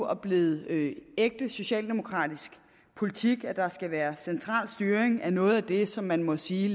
og blevet ægte socialdemokratisk politik at der skal være central styring af noget af det som man må sige